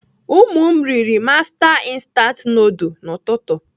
Ụmụ m riri master instant nudul n'ụtụtụ.